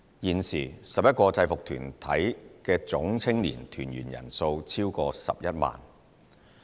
現時 ，11 個制服團體的總青年團員人數超過11萬人。